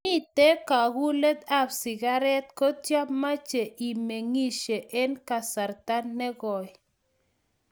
mete kagulet ab sigaret kotie mache imeng'ishe eng kasarta ne koi